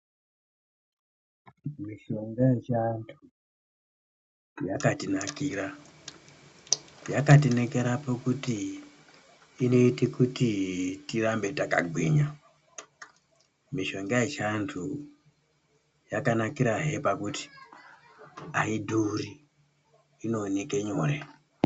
Mishonga yechiantu, yakatinakira yakatinakira pakuti inoita kuti tirambe takagwinya, mishonga yechiantu yakanakira hee pakuti aidhuri, inooneke anyore.